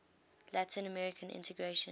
latin american integration